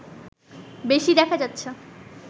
বেশি দেখা যাচ্ছে